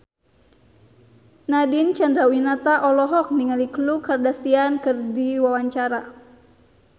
Nadine Chandrawinata olohok ningali Khloe Kardashian keur diwawancara